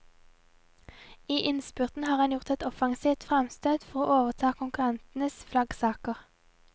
I innspurten har han gjort et offensivt fremstøt for å overta konkurrentenes flaggsaker.